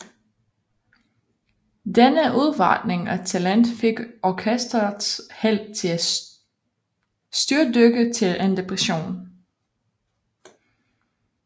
Denne udvandring af talent fik orkestrets held til at styrtdykke til en depression